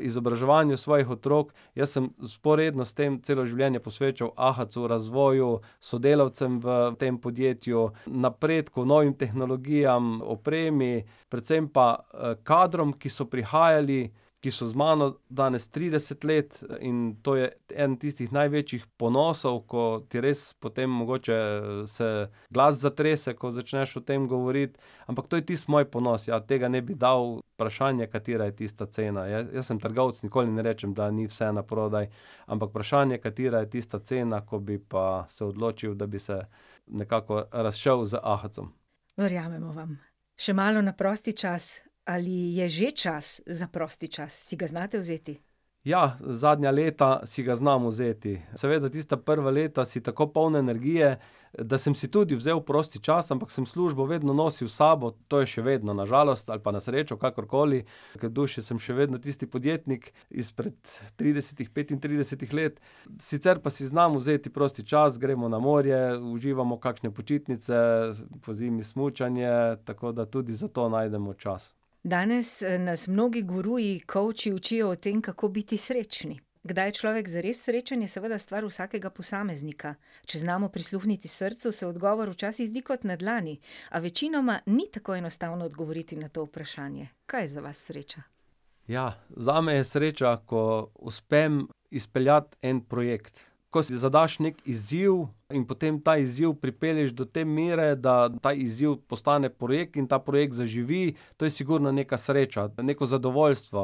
izobraževanju svojih otrok. Jaz sem vzporedno s tem celo življenje posvečal Ahacu, razvoju, sodelavcem v tem podjetju, napredku, novim tehnologijam, opremi. Predvsem pa, kadrom, ki so prihajali, ki so z mano danes trideset let in to je eden tistih največjih ponosov, ko ti res potem mogoče se glas zatrese, ko začneš o tem govoriti. Ampak to je tisti moj ponos, ja. Tega ne bi dal. Vprašanje, katera je tista cena. Jaz sem trgovec, nikoli ne rečem, da ni vse naprodaj. Ampak vprašanje, katera je tista cena, ko bi pa se odločil, da bi se nekako razšel z Ahacom. Verjamemo vam. Še malo na prosti čas. Ali je že čas za prosti čas? Si ga znate vzeti? Ja, zadnja leta si ga znam vzeti. Seveda tista prva leta si tako poln energije, da sem si tudi vzel prosti čas, ampak sem službo vedno nosil s sabo. To je še vedno, na žalost ali pa na srečo, kakorkoli. Kar v duši sem še vedno tisti podjetnik izpred tridesetih, petintridesetih let. Sicer pa si znam vzeti prosti čas, gremo na morje, uživamo kakšne počitnice pozimi smučanje, tako da tudi za to najdemo čas. Danes, nas mnogi guruji, kovči učijo o tem, kako biti srečni. Kdaj je človek zares srečen je seveda stvar vsakega posameznika. Če znamo prisluhniti srcu, se odgovor včasih zdi kot na dlani. A večinoma ni tako enostavno odgovoriti na to vprašanje. Kaj je za vas sreča? Ja, zame je sreča, ko uspem izpeljati en projekt. Ko si zadaš neki izziv in potem ta izziv pripelješ do te mere, da ta izziv postane projekt in ta projekt zaživi. To je sigurno nekaj sreča, ali pa neko zadovoljstvo.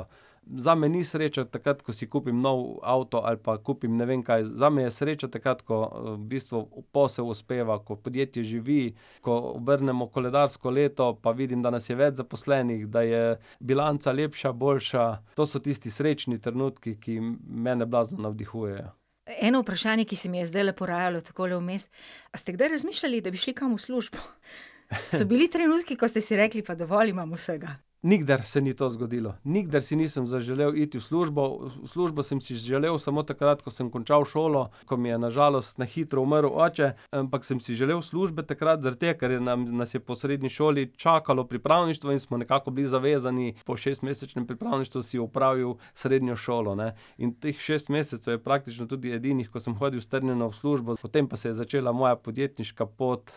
Zame ni sreča takrat, ko si kupim nov avto ali pa kupim ne vem kaj. Zame je sreča takrat, ko, v bistvu posel uspeva, ko podjetje živi, ko obrnemo koledarsko leto, pa vidim, da nas je več zaposlenih, da je bilanca lepša, boljša. To so tisti srečni trenutki, ki mene navdihujejo. Eno vprašanje, ki se mi je zdajle porajalo, takole vmes. A ste kdaj razmišljali, da bi šli kam v službo? So bili trenutki, ko ste si rekli: "Pa dovolj imam vsega." Nikdar se ni to zgodilo. Nikdar si nisem zaželel iti v službo, v v službo sem si želel samo takrat, ko sem končal šolo, ko mi je na žalost na hitro umrl oče. Ampak sem si želel službe takrat zaradi tega, ker je nas je po srednji šoli čakalo pripravništvo in smo nekako bili zavezani. Po šestmesečnem pripravništvu si opravil srednjo šlo, ne. In teh šest mesecev je praktično tudi edinih, ko sem hodil strnjeno v službo, potem pa se je začela moja podjetniška pot,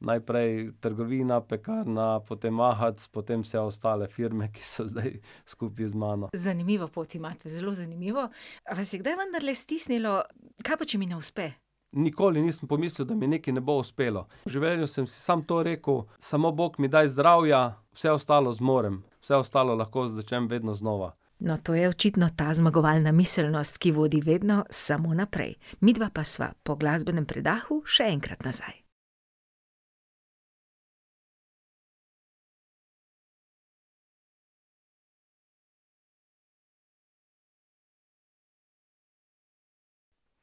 najprej trgovina, pekarna, potem Ahac, potem vse ostale firme, ki so zdaj skupaj z mano. Zanimivo pot imate, zelo zanimivo. A vas je kdaj vendarle stisnilo, kaj pa, če mi ne uspe? Nikoli nisem pomislil, da mi nekaj ne bo uspelo. V življenju sem si samo to rekel: "Samo bog mi daj zdravja, vse ostalo zmorem. Vse ostalo lahko začnem vedno znova." No, to je očitno ta zmagovalna miselnost, ki vodi vedno samo naprej. Midva pa sva po glasbenem predahu še enkrat nazaj.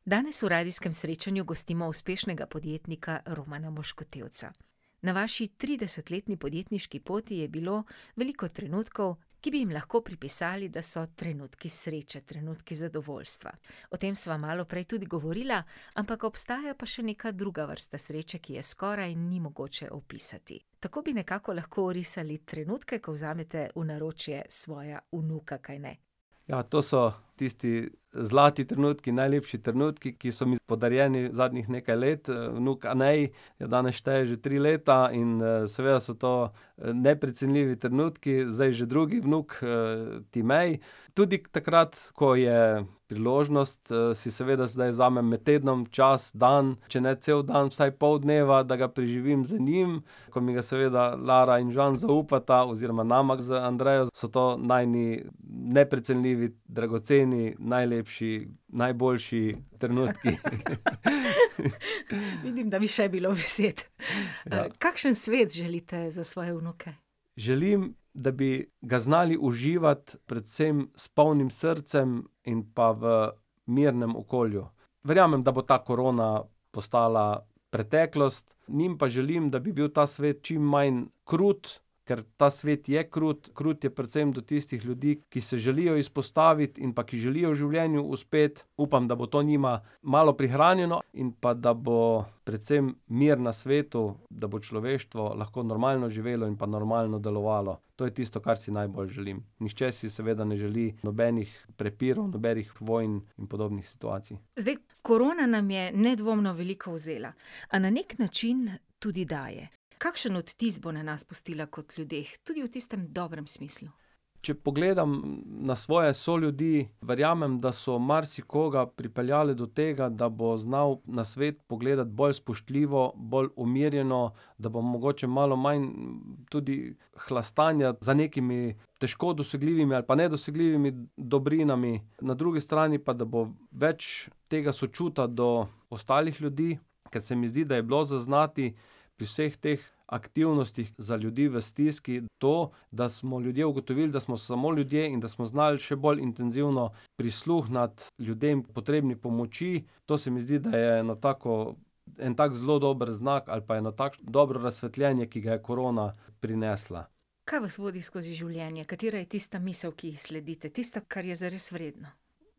Danes v Radijskem srečanju gostimo uspešnega podjetnika Romana Moškotevca. Na vaši tridesetletni podjetniški poti je bilo veliko trenutkov, ki bi jim lahko pripisali, da so trenutku sreče, trenutki zadovoljstva. O tem sva malo prej tudi govorila. Ampak obstaja pa še neka druga vrsta sreče, ki je skoraj ni mogoče opisati. Tako bi nekako lahko orisali trenutke, ko vzamete v naročje svoja vnuka, kajne? Ja, to so tisti zlati trenutki, najlepši trenutki, ki so mi podarjeni zadnjih nekaj let. vnuk Anej danes šteje že tri leta in, seveda so to, neprecenljivi trenutki. Zdaj že drugi vnuk, Timej. Tudi takrat, ko je priložnost, si seveda zdaj vzamem med tednom čas, dan, če ne cel dan, vsaj pol dneva, da ga preživim z njim, ko mi ga seveda Lara in Žan zaupata, oziroma nama z Andrejo, so to najini neprecenljivi, dragoceni, najlepši, najboljši trenutki. Vidim, da bi še bilo besed. Kakšen svet želite za svoje vnuke? Želim, da bi ga znali uživati, predvsem s polnim srcem in pa v mirnem okolju. Verjamem, da bo ta korona postala preteklost, njim pa želim, da bi bil ta svet čim manj krut, ker ta svet je krut. Krut je predvsem do tistih ljudi, ki se želijo izpostaviti in pa ki želijo v življenju uspeti. Upam, da bo to njima malo prihranjeno in pa da bo predvsem mir na svetu, da bo človeštvo lahko normalno živelo in pa normalno delovalo. To je tisto, kar si najbolj želim. Nihče si seveda ne želi nobenih prepirov, nobenih vonj in podobnih situacij. Zdaj korona nam je nedvomno veliko vzela. A na neki način tudi daje. Kakšen odtis bo na nas pustila kot ljudeh, tudi v tistem dobrem smislu? Č pogledam na svoje soljudi, verjamem, da so marsikoga pripeljale do tega, da bo znal na svet pogledati bolj spoštljivo, bolj umirjeno, da bo mogoče malo manj tudi hlastanja za nekimi težko dosegljivimi ali pa nedosegljivimi dobrinami. Na drugi strani pa, da bo več tega sočutja do ostalih ljudi, ker se mi zdi, da je bilo zaznati pri vseh teh aktivnostih za ljudi v stiski to, da smo ljudje ugotovili, da smo samo ljudje, in da smo znali še bolj intenzivno prisluhniti ljudem, potrebnim pomoči. To se mi zdi, da je eno tako en tak zelo dober znak, ali pa eno takšno dobro razsvetljenje, ki ga je korona prinesla. Kaj vas vodi skozi življenje? Katera je tista misel, ki ji sledite, tisto, kar je zares vredno?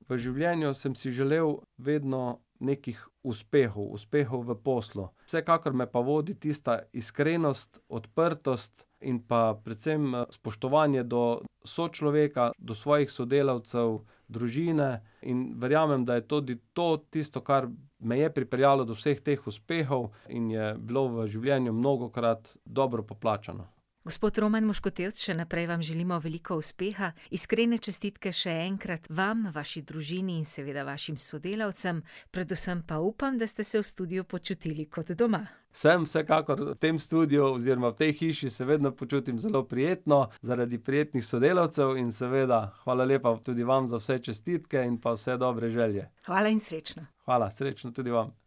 V življenju sem si želel vedno nekih uspehov. Uspehov v poslu. Vsekakor me pa vodi tista iskrenost, odprtost in pa predvsem spoštovanje do sočloveka, do svojih sodelavcev, družine. In verjamem, da je tudi to tisto, kar me je pripeljalo do vseh teh uspehov in je bilo v življenju mnogokrat dobro poplačano. Gospod Roman Moškotevc, še naprej vam želimo veliko uspeha. Iskrene čestitke še enkrat vam, vaši družini in seveda vašim sodelavcem, predvsem pa upam, da ste se v studiu počutili kot doma. Sem, vsekakor. V tem studiu oziroma v tej hiši se vedno počutim zelo prijetno zaradi prijetnih sodelavcev in seveda hvala lepa tudi vam za vse čestitke in pa vse dobre želje. Hvala in srečno. Hvala. Srečno tudi vam.